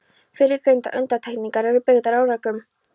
Fyrrgreindar undantekningar eru byggðar á rökum.